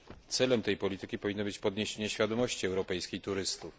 Celem tej polityki powinno być podniesienie świadomości europejskich turystów.